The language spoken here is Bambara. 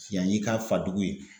Yan y'i ka fa dugu ye